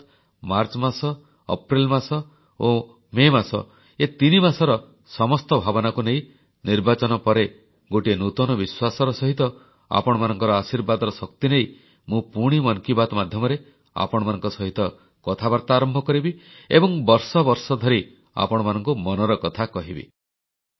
ଅର୍ଥାତ୍ ମାର୍ଚ୍ଚ ମାସ ଅପ୍ରେଲ ମାସ ଓ ମେ ମାସ ଏ ତିନିମାସର ସମସ୍ତ ଭାବନାକୁ ନେଇ ନିର୍ବାଚନ ପରେ ଗୋଟିଏ ନୂତନ ବିଶ୍ୱାସର ସହିତ ଆପଣମାନଙ୍କର ଆଶୀର୍ବାଦର ଶକ୍ତି ନେଇ ମୁଁ ପୁଣି ମନ କି ବାତ୍ ମାଧ୍ୟମରେ ଆପଣମାନଙ୍କ ସହିତ କଥାବାର୍ତ୍ତା ଆରମ୍ଭ କରିବି ଏବଂ ବର୍ଷ ବର୍ଷ ଧରି ଆପଣମାନଙ୍କୁ ମନର କଥା କହିବି